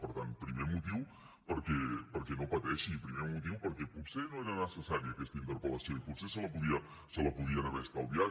per tant primer motiu perquè no pateixi i primer motiu perquè potser no era necessària aquesta interpel·lació i potser se la podien haver estalviat